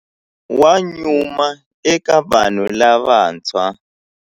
Wa nyuma eka vanhu lavantshwa.